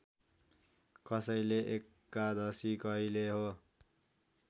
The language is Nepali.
कसैले एकादशी कहिले हो